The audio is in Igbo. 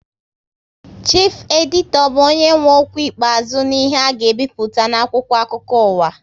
Chifu editọ bụ onye nwe okwu ikpeazụ n'ihe a ga ebipụta n'akwụkwọ akụkọ uwa